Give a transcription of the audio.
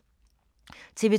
TV 2